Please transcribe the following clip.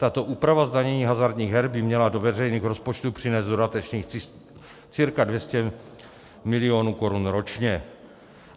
Tato úprava zdanění hazardních her by měla do veřejných rozpočtů přinést dodatečných cca 200 milionů korun ročně.